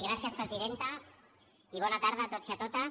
gràcies presidenta i bona tarda a tots i a totes